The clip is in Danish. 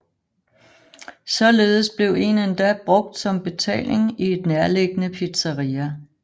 Således blev en endda brugt som betaling i et nærliggende pizzeria